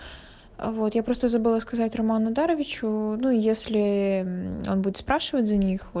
вот я просто забыла сказать роман нодарович ну если он будет спрашивать за них